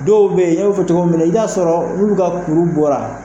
Dɔw bɛ yen'e b'o fɔ cogomina i b'a sɔrɔ min bɛ ka kuru bɔ a.